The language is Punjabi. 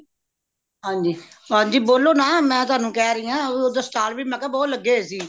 ਹਨੀ ਹਨਜੀ ਬੋਲੋ ਨਾ ਮੈਂ ਤੁਹਾਨੂੰ ਕਹਿ ਰਿਯਾ ਓਦਰ stall ਵੀ ਮਈ ਕਿਆ ਬਹੁਤ ਲੱਗੇ ਹੋਏ ਸੀ